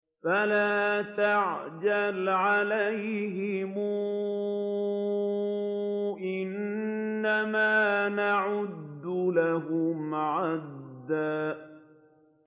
فَلَا تَعْجَلْ عَلَيْهِمْ ۖ إِنَّمَا نَعُدُّ لَهُمْ عَدًّا